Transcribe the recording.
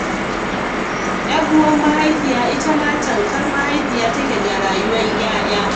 Yar uwar mahaifiya itama tamkar mahaifiya take ga rayuwar ''ya'ya.